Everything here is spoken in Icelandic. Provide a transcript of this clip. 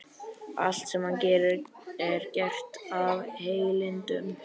Allt sem hann gerir er gert af heilindum.